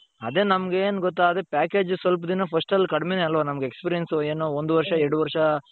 ಅದೇ ನಮಗೇನು ಗೊತ್ತಾ ಅದೇ package ಸ್ವಲ್ಪ ದಿನ first ಅಲ್ಲಿ ಕಡಿಮೆ ಅಲ್ವ ನಮ್ಗೆ experience ಏನೋ ಒಂದು ವರುಷ ಎರಡು ವರುಷ .